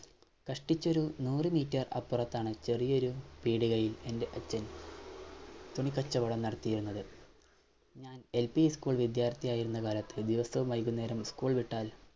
കഷ്ടിച്ചൊരു നൂറ് Meter അപ്പുറത്താണ് ചെറിയൊരു പീടികയിൽ എൻറെ അച്ഛൻ തുണിക്കച്ചോടം നടത്തിയിരുന്നത് ഞാൻ LP ഉ School വിദ്യാർഥിയായിരുന്ന കാലത്ത് ദിവസവും വൈകുന്നേരം ഉ School വിട്ടാൽ